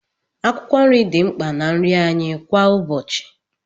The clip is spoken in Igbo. Akwụkwọ nri dị mkpa na nri anyị kwa ụbọchị.